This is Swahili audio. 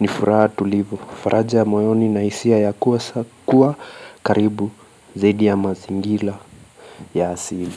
ni furaha tulivu faraja moyoni nahisia ya kuwa karibu zaidi ya mazingira ya asili.